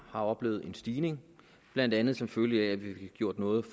har oplevet en stigning blandt andet som følge af at vi fik gjort noget